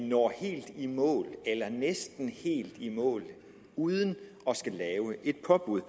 når helt i mål eller næsten helt i mål uden at skulle lave et påbud